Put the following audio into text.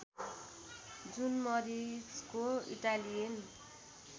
जुन मरिचको इटालियन